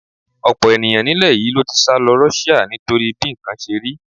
Ọ̀pọ̀ ènìyàn nílẹ̀ yìí ló ti sálọ Russia nítorí bí nǹkan ṣe rí.